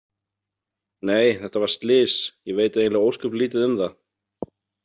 Nei, þetta var slys, ég veit eiginlega ósköp lítið um það